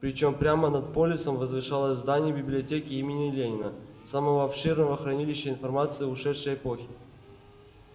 причём прямо над полисом возвышалось здание библиотеки имени ленина самого обширного хранилища информации ушедшей эпохи